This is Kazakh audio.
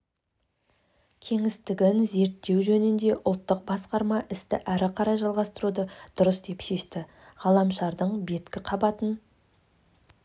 кеңістігін зерттеу жөніндегі ұлттық басқарма істі ары қарай жалғастыруды дұрыс деп шешті ғаламшардың беткі қабатын